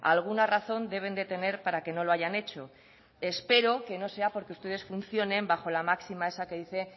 alguna razón deben de tener para que no lo hayan hecho espero que no sea porque ustedes funcionen bajo la máxima esa que dice